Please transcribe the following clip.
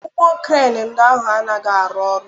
Ụgbọ Kren ndị ahụ anaghị arụ ọrụ.